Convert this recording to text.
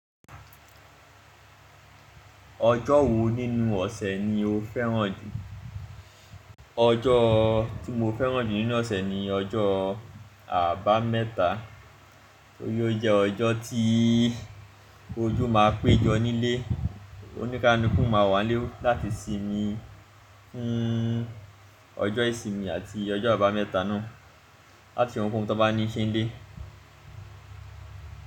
Ọjọ́ wo nínú ọ̀sẹ̀ ni o fẹ́ràn jù? Ọjọ́ tí mo fẹ́ràn jù nínú ọ̀sẹ̀ ni ọjọ́ Àbámẹ́ta, torí ó jẹ́ ọjọ́ tí ojú máa péjọ nílé. Oníkaluku máa wà nlé láti sinmi fún ọjọ́ ìsinmi àti ọjọ́ Àbámẹ́ta náà láti s'ohun kohun tan bá ní ṣẹ́ńlẹ́.